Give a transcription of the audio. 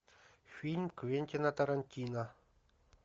фильм квентина тарантино